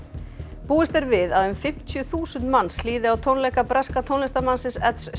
búist er við að um fimmtíu þúsund manns hlýði á tónleika breska tónlistarmannsins